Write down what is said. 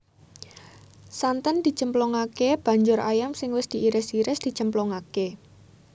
Santen dicemplungake banjur ayam sing wis diiris iris dicemplungake